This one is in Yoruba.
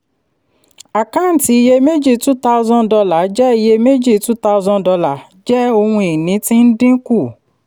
àkáǹtí iyeméjì two thousand dollar jẹ́ iyèméjì two thousand dollar jẹ́ ohun ìní tí ń dín kù.